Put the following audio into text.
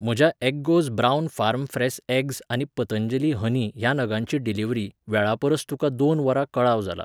म्हज्या Eggoz brown farm fresh eggs आनी Patanjali honey ह्या नगांची डिलिव्हरी, वेळापरस तुका दोन वरां कळाव जाला.